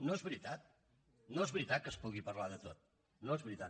no és veritat no és veritat que es pugui parlar de tot no és veritat